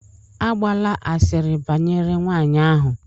Agbala asịrị banyere nwanyị ahụ!